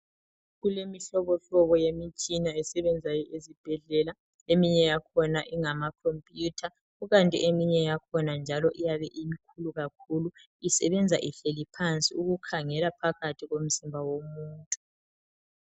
Kulemihlobo hlobo yemitshina esebenzayo ezibhedlela eminye yakhona ingamakhompuyutha kukanti eminye yakhona njalo iyabe imikhulu kakhulu isebenza ihleli phansi ukukhangela phakathi komzimba womuntu.